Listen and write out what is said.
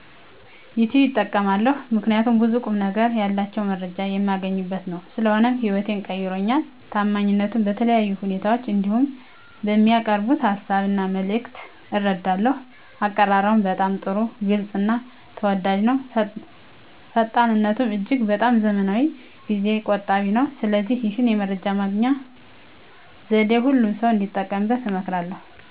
ዩቲብ እጠቀማለሁ ምከንያቱም ብዙ ቁምነገር ያላቸውን መረጃ የማገኝበት ነው። ስለሆነም ህይወቴን ቀይሮልኛል። ታማኝነቱንም በተለያየ ሁኔታ እንዲሁም በሚያቀርቡት ሀሳብ እና መልክት እረዳለሁ። አቀራረቡም በጣም ጥሩ ግልፅ እና ተወዳጅ ነው። ፈጣንነቱም እጅግ በጣም ዘመናዊና ጊዜ ቆጣቢ ነው። ስለዚህ ይህን የመረጃ ማግኛ ዘዴ ሁሉም ሰው እንዲጠቀምበት እመክራለሁ።